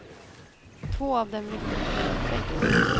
Två av dem lyfte upp mig mot väggen.